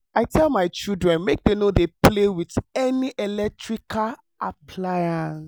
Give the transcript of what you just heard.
i tell my children make dem no dey play with any electrical appliance